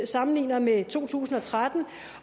sammenlignet med to tusind og tretten